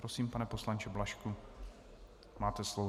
Prosím, pane poslanče Blažku, máte slovo.